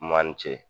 Man ni ce